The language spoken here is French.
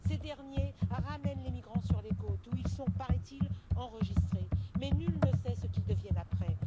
Ces derniers ramènent les migrants sur les côtes, où ils sont paraît il enregistrés, mais nul ne sait ce qu'ils deviennent après.